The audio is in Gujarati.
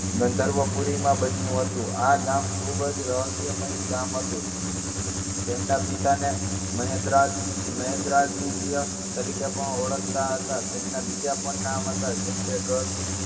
ગંઘર્વપુરીમાં બન્યું હતું. આ ગામ ખુબ જ રહસ્યમયી ગામ હતું. તેમના પિતાને મહેદરા~મહેદરાદિત્ય તરીકે પણ ઓળખતા હતા. તેમના બીજા પણ નામ હતા. જેમ કે ગભ~